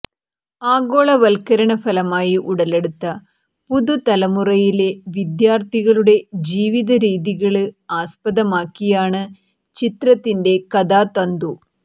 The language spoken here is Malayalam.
ആഗോളവല്ക്കരണ ഫലമായി ഉടലെടുത്ത പുതുതലമുറയിലെ വിദ്യാര്ത്ഥികളുടെ ജീവിതരീതികള് ആസ്പദമാക്കിയാണ് ചിത്രത്തിന്റെ കഥാതന്തു